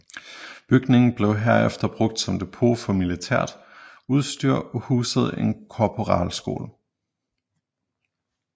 Bygningen blev herefter brugt som depot for militært udstyr og husede en korporalskole